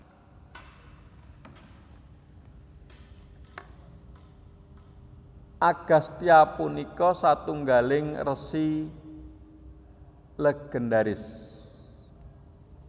Agastya punika satunggaling resi légendharis